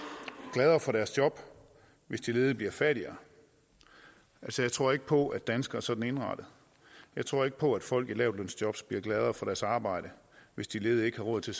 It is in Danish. gladere for deres job hvis de ledige bliver fattigere jeg tror ikke på at danskere er sådan indrettet jeg tror ikke på at folk i lavtlønsjobs bliver gladere for deres arbejde hvis de ledige ikke har råd til